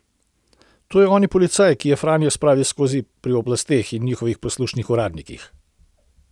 To je oni policaj, ki je Franjo spravil skozi pri oblasteh in njihovih poslušnih uradnikih.